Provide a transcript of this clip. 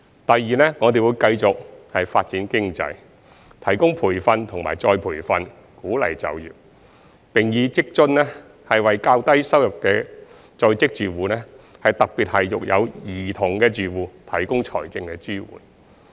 第二，我們會繼續發展經濟，提供培訓和再培訓，鼓勵就業，並以在職家庭津貼為較低收入在職住戶，特別是育有兒童的住戶，提供財政支援。